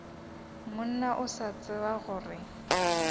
monna o sa tsebe gore